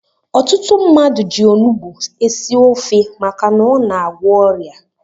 Ọtụtụ mmadụ ji onugbu esi ofe maka na ọ na-agwọ ọrịa.